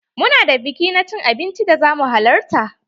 Mu na da biki na cin abinci da za mu halarta.